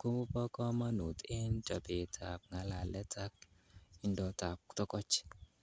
kobo komonut en chobetab ng'alalet ak indotab togoch.